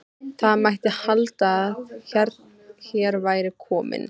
Það mætti halda að hér væri kominn